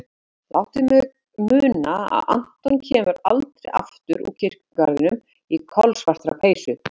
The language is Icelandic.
Láta mig muna að Anton kemur aldrei aftur úr kirkjugarðinum í kolsvartri peysu.